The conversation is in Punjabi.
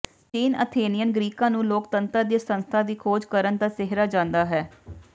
ਪ੍ਰਾਚੀਨ ਅਥੇਨਿਅਨ ਗ੍ਰੀਕਾਂ ਨੂੰ ਲੋਕਤੰਤਰ ਦੀ ਸੰਸਥਾ ਦੀ ਖੋਜ ਕਰਨ ਦਾ ਸਿਹਰਾ ਜਾਂਦਾ ਹੈ